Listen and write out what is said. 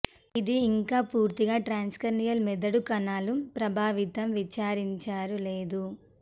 ఇది ఇంకా పూర్తిగా ట్రాన్స్కార్నియల్ మెదడు కణాలు ప్రభావితం వివరించారు లేదు